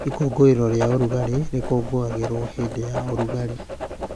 Ikũngũĩro rĩa ũrugarĩ rĩkũngũagĩrwo hĩndĩ ya ũrugarĩ.